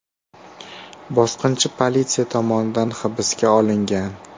Bosqinchi politsiya tomonidan hibsga olingan.